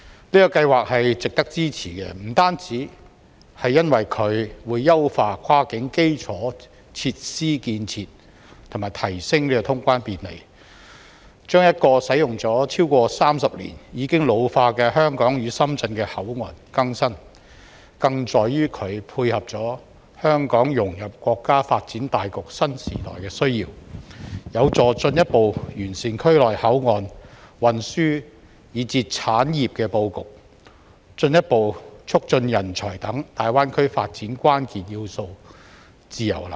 這項計劃值得支持，不單是因為它會優化跨境基礎設施建設及提升通關便利，把一個使用了超過30年、已經老化的香港與深圳的口岸更新，更在於它配合了香港融入國家發展大局新時代的需要，有助進一步完善區內口岸、運輸以至產業的布局，進一步促進人才等大灣區發展關鍵要素自由流動。